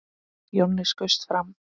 Jonni skaust fram.